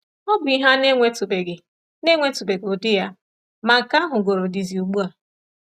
Ọ bụ ihe a na-enwetụbeghị na-enwetụbeghị ụdị ya, ma nke a hugoro dizi ugbu a.